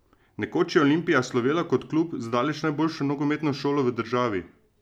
Nekoč je Olimpija slovela kot klub z daleč najboljšo nogometno šolo v državi.